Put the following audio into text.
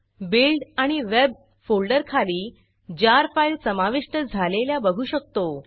build build आणि web web folder खाली jar jar file समाविष्ट झालेल्या बघू शकतो